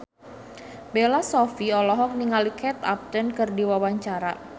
Bella Shofie olohok ningali Kate Upton keur diwawancara